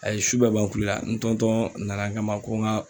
A ye su bɛɛ ban kule la n nana n kama ko n ka.